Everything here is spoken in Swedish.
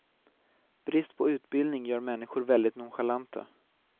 Brist på utbildning gör människor väldigt nonchalanta.